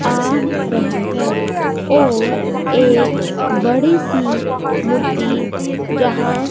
आ रहे हैं और एक बड़ी सी मूर्ति जहां--